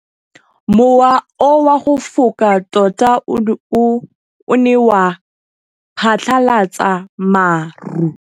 Mowa o wa go foka tota o ne wa phatlalatsa maru.